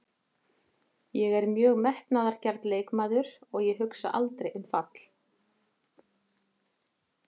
Ég er mjög metnaðargjarn leikmaður og ég hugsa aldrei um fall.